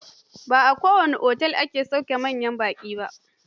Ba kowane otel ne ya ke da dakin saukar manyan baƙi ba.